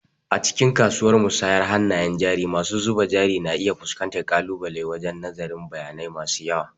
A cikin kasuwar musayar hannayen jari masu zuba jari na iya fuskantar ƙalubale wajen nazarin bayanai masu yawa.